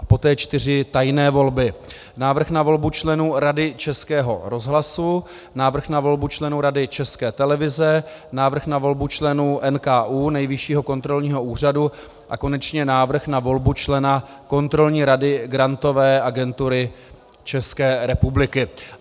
A poté čtyři tajné volby, Návrh na volbu členů Rady Českého rozhlasu, Návrh na volbu členů Rady České televize, Návrh na volbu členů NKÚ, Nejvyššího kontrolního úřadu a konečně Návrh na volbu člena Kontrolní rady Grantové agentury České republiky.